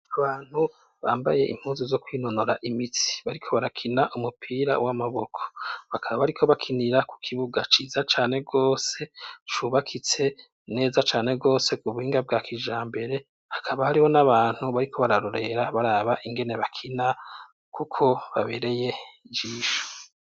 Abantu bambaye impuzu zo kwinonora imitsi bariko barakina umupira w'amaboko bakaba bariko bakinira kukibuga ciza cane gose cubakitse neza cane gose k'ubuhinga bwa kijambere. Hakaba hariho n'abantu bariko bararorera baraba ingene bakina kuko babereye ijisho.